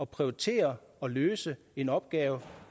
prioritere og løse en opgave